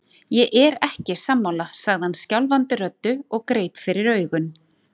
Ég er ekki sammála, sagði hann skjálfandi röddu og greip fyrir augun.